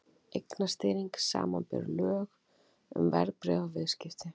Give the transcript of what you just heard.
Eignastýring, samanber lög um verðbréfaviðskipti.